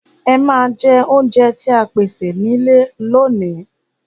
Ẹ ma jẹ oúnjẹ tí a pèsè nílé lóòní.